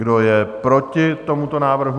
Kdo je proti tomuto návrhu?